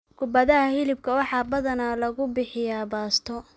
Kubadaha hilibka waxaa badanaa lagu bixiyaa baasto.